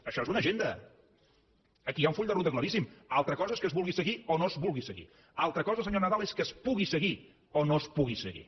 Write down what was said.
això és una agenda aquí hi ha un full de ruta claríssim altra cosa és que es vulgui seguir o no es vulgui seguir altra cosa senyor nadal és que es pugui seguir o no es pugui seguir